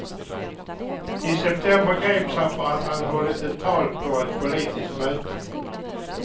I september greps han för att han hållit ett tal på ett politiskt möte.